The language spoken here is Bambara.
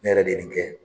Ne yɛrɛ de kɛ